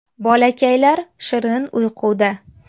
Bolakaylar shirin uyquda.